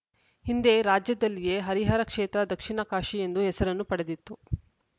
ಹಿಂದೆ ರಾಜ್ಯದಲ್ಲಿಯೇ ಹರಿಹರ ಕ್ಷೇತ್ರ ದಕ್ಷಿಣ ಕಾಶಿ ಎಂದು ಹೆಸರನ್ನು ಪಡೆದಿತ್ತು